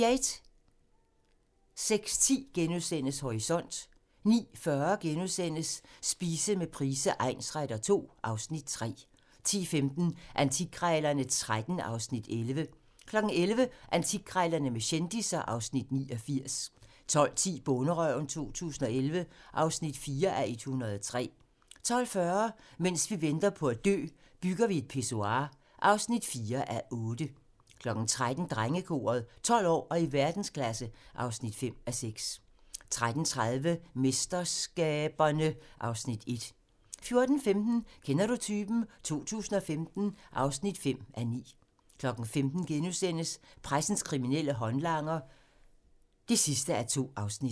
06:10: Horisont * 09:40: Spise med Price egnsretter II (Afs. 3)* 10:15: Antikkrejlerne XIII (Afs. 11) 11:00: Antikkrejlerne med kendisser (Afs. 89) 12:10: Bonderøven 2011 (4:103) 12:40: Mens vi venter på at dø - Bygger vi et pissoir (4:8) 13:00: Drengekoret - 12 år og i verdensklasse (5:6) 13:30: MesterSkaberne (Afs. 1) 14:15: Kender du typen? 2015 (5:9) 15:00: Pressens kriminelle håndlanger (2:2)*